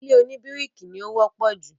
ilé òní bíríkì ni ó wọ́pọ̀ jù.